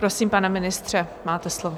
Prosím, pane ministře, máte slovo.